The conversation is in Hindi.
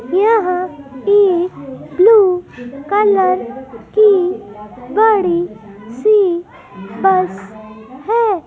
यहां एक ब्लू कलर की बड़ी सी बस है।